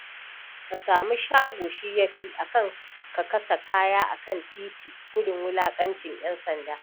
Ka sami shago shi ya fi, a kan kasa kaya a kan titi gudun wulaƙacin ƴansanda.